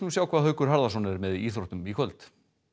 sjá hvað Haukur Harðarson verður með í íþróttum í kvöld